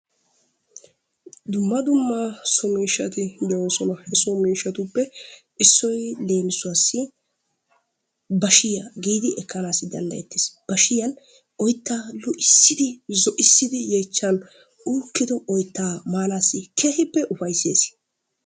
Dumma dumma soo miishshati de"oosona. he so miishshatuppe issoy leemisuwaasi baashshiyaa giidi ekkanawu dandayettees. bashshiyaan oyttaa zoo"isiidi zoo"isiidi yeechchaan uukkido oyttaa maanaasi keehippe ufayssees.